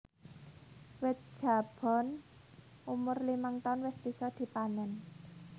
Wit Jabon umur limang taun wis bisa dipanèn